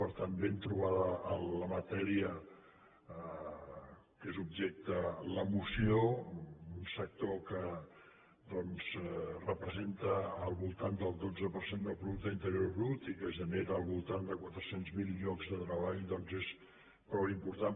per tant ben trobada la matèria de què és objecte la moció un sector que doncs representa al voltant del dotze per cent del producte interior brut i que genera al voltant de quatre cents mil llocs de treball doncs és prou important